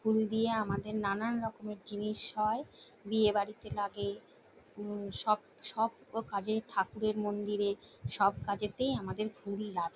ফুল দিয়ে আমাদের নানানরকমের জিনিস হয় বিয়েবাড়িতে লাগে উম সব সব কাজে ঠাকুরের মন্দিরে সবকাজেতেই আমাদের ফুল লাগে।